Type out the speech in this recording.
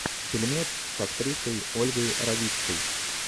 фильмец с актрисой ольгой равицкой